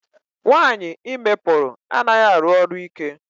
Nwaanyị ime pụrụ anaghị arụ ọrụ ike.